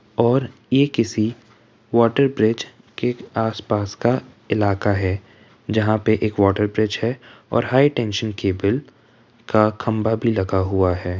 और ये किसी वाटर ब्रिज के आस-पास का इलाका है जहाॅं पे एक वाटर ब्रिज है और हाई टेंशन का बिल का खम्भा भी लगा हुआ है।